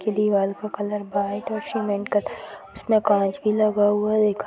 इस दीवाल का कलर व्हाइट और सीमेंट था इसमें काँच भी लगा हुआ है।